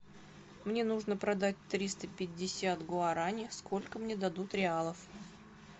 мне нужно продать триста пятьдесят гуарани сколько мне дадут реалов